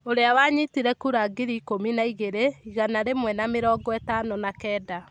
Ũrĩa wanyitire kura ngiri ikũmi na igĩrĩ, igana rĩmwe na mĩrongo ĩtano na kenda.